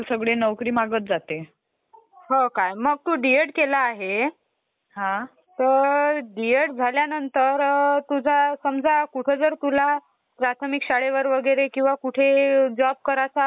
अच्छा. मला ह्यांच्याविषयी फक्त डेफिनिशन माहित आहे. संगणक काय असतात, एक सामान्य ऑपरेटिंग मशीन जे विशेषतः ज्ञान शिक्षण आणि संशोधन ह्या क्षेत्रात वापरली जाते त्याला कॉम्प्युटर म्हणतात.